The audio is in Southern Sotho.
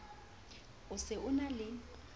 o se o na le